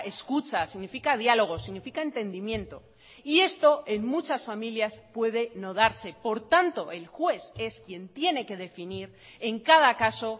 escucha significa diálogo significa entendimiento y esto en muchas familias puede no darse por tanto el juez es quien tiene que definir en cada caso